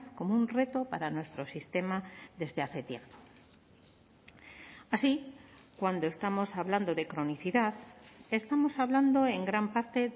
como un reto para nuestro sistema desde hace tiempo así cuando estamos hablando de cronicidad estamos hablando en gran parte